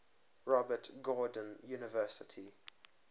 robert gordon university